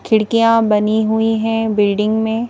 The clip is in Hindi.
खिड़कियाँ बनी हुई हैं बिल्डिंग में।